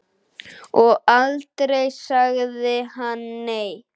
Og aldrei sagði hann nei.